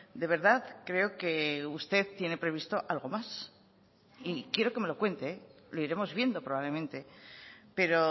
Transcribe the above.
de verdad creo que usted tiene previsto algo más y quiero que me lo cuente lo iremos viendo probablemente pero